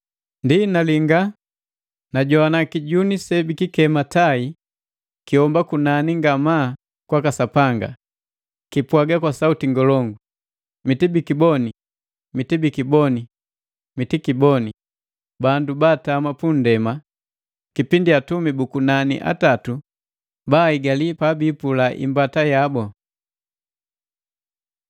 Ndi nalinga, najogwana kijuni se bikikema tai kihomba kunani ngamaa kwaka Sapanga, kipwaga kwa sauti ngolongu, “Mitibikiboni, mitibikiboni, mitibikiboni bandu baatama pu nndema kipindi atumi bu kunani atatu baaigali pabipula imbata yabu!”